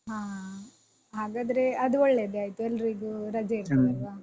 ಹಾ ಹಾಗಾದ್ರೆ ಅದು ಒಳ್ಳೇದೇ ಆಯ್ತು ಎಲ್ರಿಗೂ ರಜೆ ಇರ್ತದಲ್ವಾ.